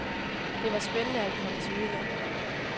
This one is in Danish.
Det var spændende at komme til udlandet.